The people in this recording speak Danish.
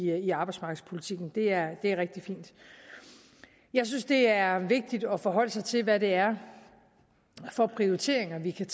jeg i arbejdsmarkedspolitikken det er er rigtig fint jeg synes det er vigtigt at forholde sig til hvad det er for prioriteringer vi kan